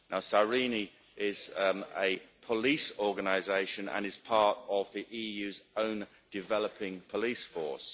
SIRENE is a police organisation and is part of the EU's own developing police force.